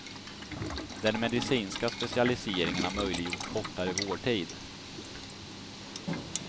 Den medicinska specialiseringen har möjliggjort kortare vårdtid.